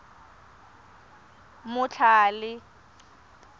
motlhale